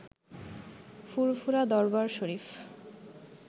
ফুরফুরা Darbar শরীফ